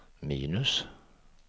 minus